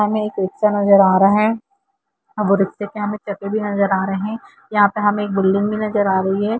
यहां पे एक रिक्शा नजर आ रहा है वह रिक्शा पे चपे भी नज़र आ रहे हैया और यहां पर एक बिल्डिंग पर भी नजर आ रही है।